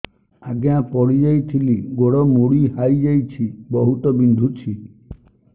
ଆଜ୍ଞା ପଡିଯାଇଥିଲି ଗୋଡ଼ ମୋଡ଼ି ହାଇଯାଇଛି ବହୁତ ବିନ୍ଧୁଛି